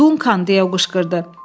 Dunkan deyə qışqırdı.